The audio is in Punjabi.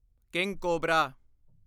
king cobra